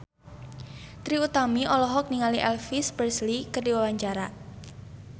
Trie Utami olohok ningali Elvis Presley keur diwawancara